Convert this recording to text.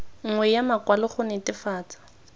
nngwe ya makwalo go netefatsa